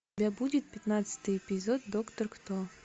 у тебя будет пятнадцатый эпизод доктор кто